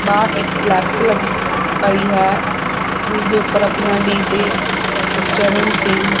ਬਾਰ ਇਕ ਲੱਗੀ ਪਈ ਹੈ ਉਸਦੇ ਉੱਪਰ ਆਪਣਾ ਡੀਜੇ ਸੁਖਚਰਨ ਸਿੰਘ।